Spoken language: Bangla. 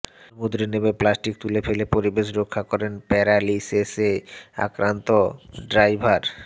সমুদ্রে নেমে প্লাস্টিক তুলে ফেলে পরিবেশ রক্ষা করেন প্যারালিসিসে আক্রান্ত ডাইভার